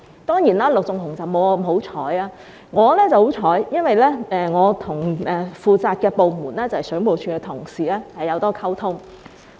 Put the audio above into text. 當然，陸頌雄議員沒有我那麼幸運，我很幸運，因為我跟負責的部門，即水務署的同事有很多溝通。